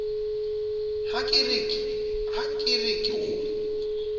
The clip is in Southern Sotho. ha ke re ke o